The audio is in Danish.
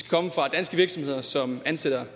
danske virksomheder som ansætter